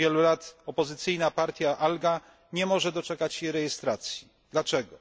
Od wielu lat opozycyjna partia Atga nie może doczekać się rejestracji dlaczego?